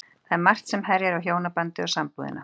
Það er margt sem herjar á hjónabandið og sambúðina.